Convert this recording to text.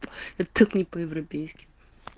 тыкни по-европейски